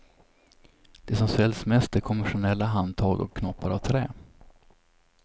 Det som säljs mest är konventionella handtag och knoppar av trä.